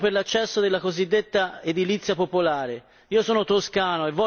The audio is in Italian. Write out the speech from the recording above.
il secondo, il criterio per l'accesso della cosiddetta edilizia popolare.